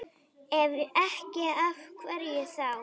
Ef ekki, af hverju þá?